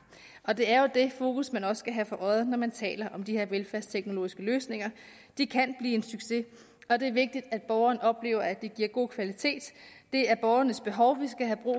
og det er jo det fokus man også skal have for øje når man taler om de her velfærdsteknologiske løsninger de kan blive en succes og det er vigtigt at borgeren oplever at det giver god kvalitet det er borgernes behov vi skal have